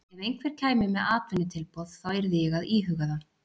Ef einhver kæmi með atvinnutilboð þá yrði ég að íhuga það.